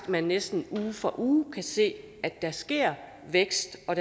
man næsten uge for uge kan se at der sker vækst og